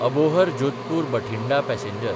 Abohar Jodhpur Bathinda passenger